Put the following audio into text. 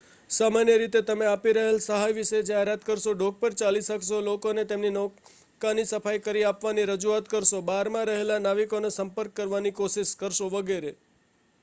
સામાન્ય રીતે તમે આપી રહેલ સહાય વિષે જાહેરાત કરશો ડૉક પર ચાલી શકશો લોકોને તેમની નૌકાની સફાઇ કરી આપવાની રજૂઆત કરશો બારમાં રહેલા નાવિકોનો સંપર્ક કરવાની કોશિશ કરશો વગેરે